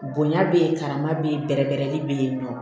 Bonya bɛ yen karama bɛ yen bɛrɛ bɛɛrɛli bɛ yen nɔ